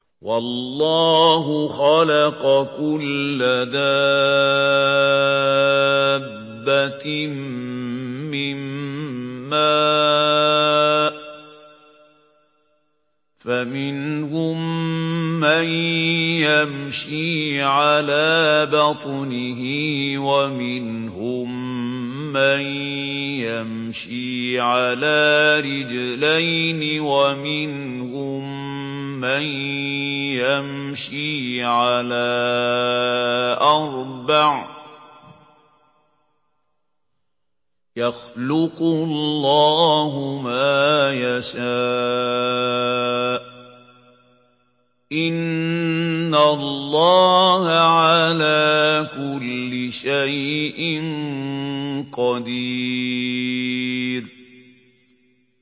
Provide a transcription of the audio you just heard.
وَاللَّهُ خَلَقَ كُلَّ دَابَّةٍ مِّن مَّاءٍ ۖ فَمِنْهُم مَّن يَمْشِي عَلَىٰ بَطْنِهِ وَمِنْهُم مَّن يَمْشِي عَلَىٰ رِجْلَيْنِ وَمِنْهُم مَّن يَمْشِي عَلَىٰ أَرْبَعٍ ۚ يَخْلُقُ اللَّهُ مَا يَشَاءُ ۚ إِنَّ اللَّهَ عَلَىٰ كُلِّ شَيْءٍ قَدِيرٌ